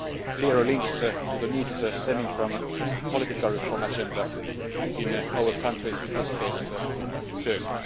clearly linked to the needs stemming from the political reform agenda in our countries, in this case, in Turkey.